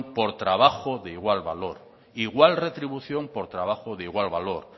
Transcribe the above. por trabajo de igual valor igual retribución por trabajo de igual valor